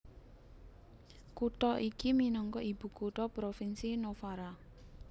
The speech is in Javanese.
Kutha iki minangka ibukutha Provinsi Novara